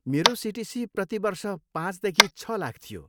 मेरो सिटिसी प्रति वर्ष पाँचदेखि छ लाख थियो।